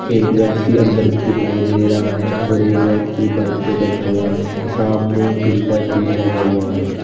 एक व्यक्ति अंदर भी दिखाई दे रहा है और एक व्यक्ति बाइक पे बैठा हुआ है सामने एक फिल्टर भी लगा हुआ है।